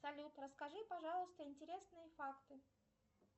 салют расскажи пожалуйста интересные факты